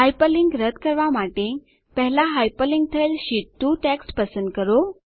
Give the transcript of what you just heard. hyperlink રદ્દ કરવાં માટે પહેલા હાયપરલીંક થયેલ શીટ 2 ટેક્સ્ટ પસંદ કરો